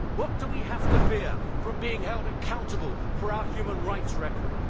What do we have to fear from being held accountable for our human rights record?